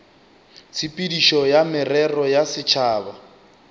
tshepedišo ya merero ya setšhaba